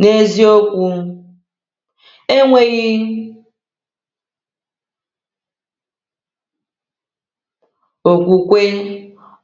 N’eziokwu, “enweghị okwukwe,